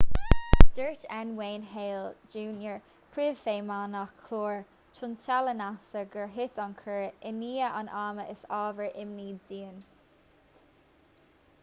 dúirt n wayne hale jr príomhfheidhmeannach chlár tointeála nasa gur thit an cúr i ndiaidh an ama is ábhar imní dúinn